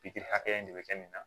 Pikiri hakɛya in de bɛ kɛ nin na